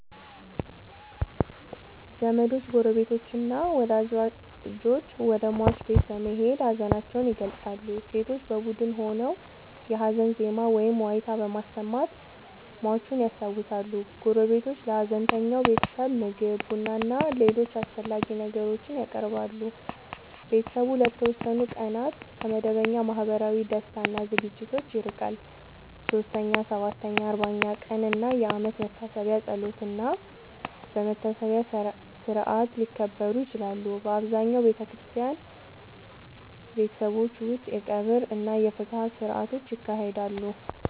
ዘመዶች፣ ጎረቤቶችና ወዳጆች ወደ ሟች ቤት በመሄድ ሀዘናቸውን ይገልጻሉ። ሴቶች በቡድን ሆነው የሀዘን ዜማ ወይም ዋይታ በማሰማት ሟቹን ያስታውሳሉ። ጎረቤቶች ለሀዘንተኛው ቤተሰብ ምግብ፣ ቡናና ሌሎች አስፈላጊ ነገሮችን ያቀርባሉ። ቤተሰቡ ለተወሰኑ ቀናት ከመደበኛ ማህበራዊ ደስታ እና ዝግጅቶች ይርቃል። 3ኛ፣ 7ኛ፣ 40ኛ ቀን እና የአመት መታሰቢያ በጸሎትና በመታሰቢያ ሥርዓት ሊከበሩ ይችላሉ። በአብዛኛው በክርስቲያን ቤተሰቦች ውስጥ የቀብር እና የፍትሐት ሥርዓቶች ይካሄዳሉ።